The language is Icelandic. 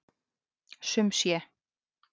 Sum sé.